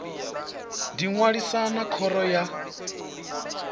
ḓi ṅwalisa na khoro ya